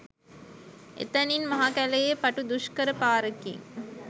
එතැනින් මහ කැළයේ පටු දුෂ්කර පාරකින්